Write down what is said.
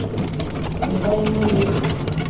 ne ba e na le